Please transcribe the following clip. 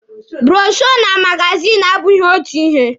Bụrọshoo na magazini abụghị otu ihe.